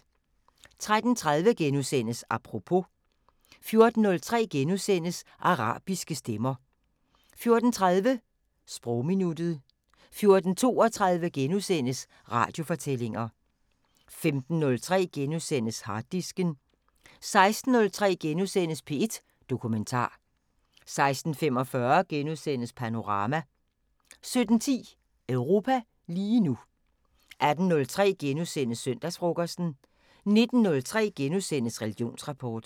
13:30: Apropos * 14:03: Arabiske stemmer * 14:30: Sprogminuttet 14:32: Radiofortællinger * 15:03: Harddisken * 16:03: P1 Dokumentar * 16:45: Panorama * 17:10: Europa lige nu 18:03: Søndagsfrokosten * 19:03: Religionsrapport *